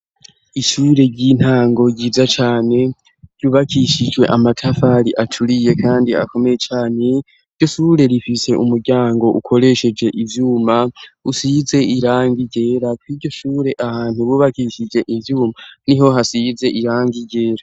Ishure ry'intango ryiza cane ryubakishijwe amatafari acuriye, kandi akomeye cane ryo sure rifise umuryango ukoresheje ivyuma usize iranga igera ko iryo shure ahantu bubakishije ivyuma ni ho hasize irange igera.